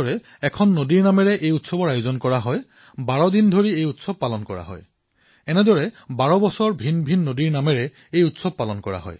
প্ৰতি বছৰে এখন নদীত অৰ্থাৎ সেই নদীৰ নম্বৰ পুনৰ বাৰ বছৰৰ পিছত আহিব আৰু সেই উৎসৱ দেশৰ বিভিন্ন প্ৰান্তৰ বাৰখন নদীত আয়োজিত হয় ভাগে ভাগে হয় আৰু বাৰদিন ধৰি হয়